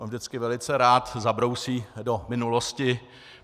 On vždycky velice rád zabrousí do minulosti.